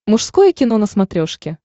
мужское кино на смотрешке